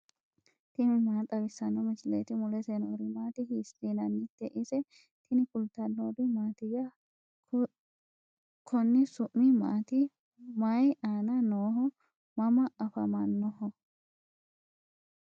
tini maa xawissanno misileeti ? mulese noori maati ? hiissinannite ise ? tini kultannori mattiya? Konni su'mi maatti mayii aanna nooho? mama afammannoho?